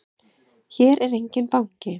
Hér er enginn banki!